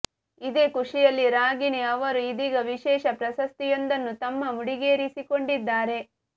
ಇದೇ ಖುಷಿಯಲ್ಲಿ ರಾಗಿಣಿ ಅವರು ಇದೀಗ ವಿಶೇಷ ಪ್ರಶಸ್ತಿಯೊಂದನ್ನು ತಮ್ಮ ಮುಡಿಗೇರಿಸಿಕೊಂಡಿದ್ದಾರೆ